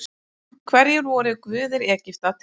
Hverjir voru guðir Egypta til forna?